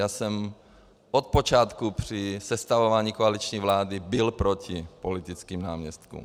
Já jsem od počátku při sestavování koaliční vlády byl proti politickým náměstkům.